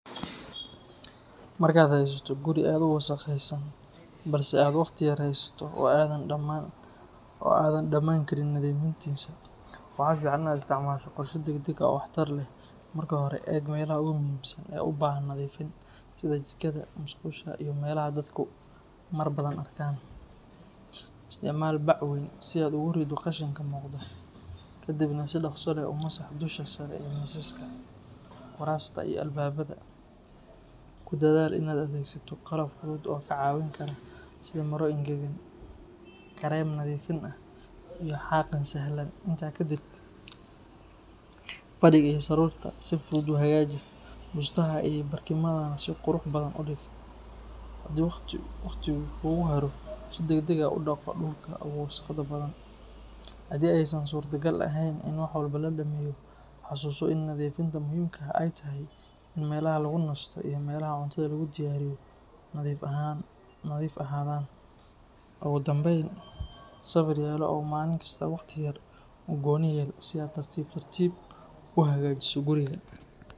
Marka aad haysato guli aad u wasaqesan balse aad waqti yar haysato oo adan daman karin nadhifintisa waxaa fican in aa egto nadhifin dag dag ah, kudadhal in aa adhegsato qalab fudud oo ka cawin kara sitha maro angagan iyo xaqin, hadii waqti kugu haro, ugu danben sawirkan in u helo waqti helo u goni ah si ee tartib tartib u hagajiso guriga.